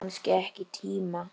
Þú hefur kannski ekki tíma?